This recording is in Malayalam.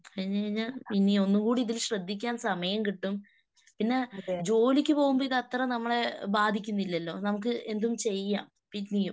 കഴിഞ്ഞ് കഴിഞ്ഞാൽ ഇനി ഒന്നുകൂടി ഇതിൽ ശ്രദ്ധിക്കാൻ സമയം കിട്ടും. പിന്നെ ജോലിക്ക് പോകുമ്പോ ഇത് അത്ര നമ്മളെ ബാധിക്കുന്നില്ലല്ലോ. നമുക്ക് എന്തും ചെയ്യാം പിന്നെയും.